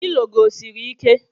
Pilo gị o siri ike?